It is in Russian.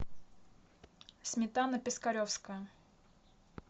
сметана пискаревская